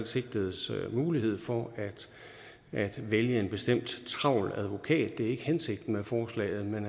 sigtedes mulighed for at vælge en bestemt travl advokat det er ikke hensigten med forslaget men